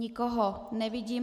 Nikoho nevidím.